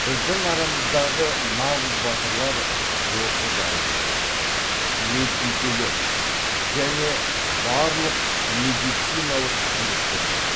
біздің арамыздағы нағыз батырлар осы дәрігерлер медбикелер және барлық медициналық қызметкерлер